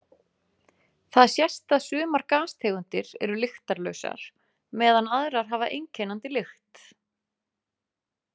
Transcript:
Þar sést að sumar gastegundir eru lyktarlausar meðan aðrar hafa einkennandi lykt.